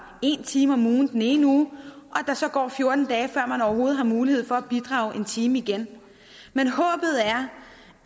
en time om ugen den ene uge og så går fjorten dage før man overhovedet har mulighed for at bidrage en time igen men håbet er